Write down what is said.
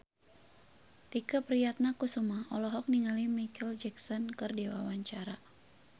Tike Priatnakusuma olohok ningali Micheal Jackson keur diwawancara